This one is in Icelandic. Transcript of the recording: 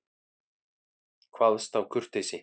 Kvaðst af kurteisi.